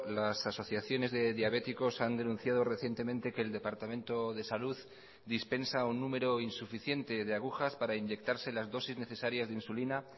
las asociaciones de diabéticos han denunciado recientemente que el departamento de salud dispensa un número insuficiente de agujas para inyectarse las dosis necesarias de insulina